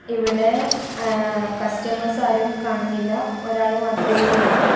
ഇവിടെ ഏഹ് കസ്റ്റമേഴ്സ് ആരും കാണുന്നില്ല ഒരാള് മാത്രമേ ഉള്ളൂ.